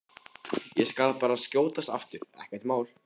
Ég skal bara skjótast aftur, ekkert mál!